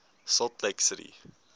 salt lake city